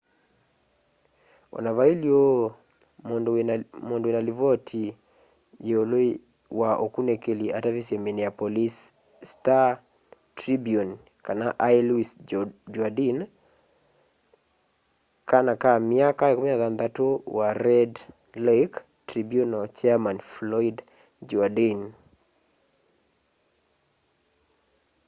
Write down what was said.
ona vailye uu mundu wina livoti yiulu wa ukunikili atavisye minneapolis star tribune kana ai louis jourdain kana ka myaka 16 wa red lake tribunal chairman floyd jourdain